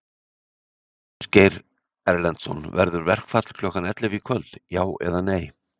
Ásgeir Erlendsson: Verður verkfall klukkan ellefu í kvöld, já eða nei?